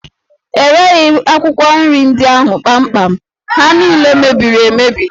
E reghi akwụkwọ nri ndị ahụ kpamkpam, ha niile mebiri emebi